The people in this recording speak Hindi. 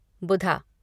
बुधा